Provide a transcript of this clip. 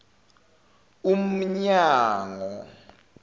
umnyango